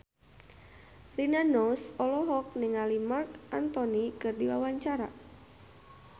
Rina Nose olohok ningali Marc Anthony keur diwawancara